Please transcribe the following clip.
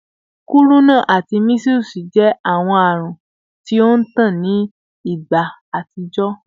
Kuruna ati measles jẹ awọn arun ti o ntan ni igba atijọ